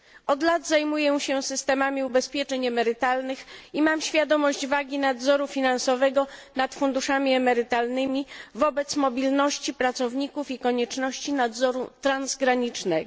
Od lat zajmuję się systemami ubezpieczeń emerytalnych i mam świadomość znaczenia nadzoru finansowego nad funduszami emerytalnymi wobec mobilności pracowników i konieczności nadzoru transgranicznego.